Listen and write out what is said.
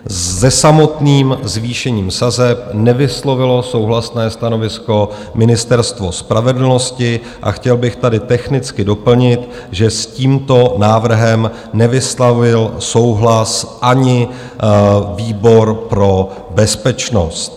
Se samotným zvýšením sazeb nevyslovilo souhlasné stanovisko Ministerstvo spravedlnosti a chtěl bych tady technicky doplnit, že s tímto návrhem nevyslovil souhlas ani výbor pro bezpečnost.